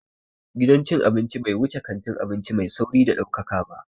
Gidan cin abinci bai wuce kantin abinci mai sauri mai ɗaukaka ba